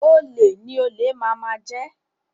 Olè ni olè máa máa jẹ